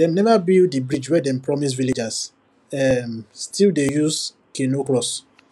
dem never build the bridge wey dem promise villagers um still dey use canoe cross